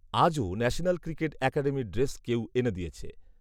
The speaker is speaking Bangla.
আজও ন্যাশনাল ক্রিকেট অ্যাকাডেমির ড্রেস কেউ এনে দিয়েছে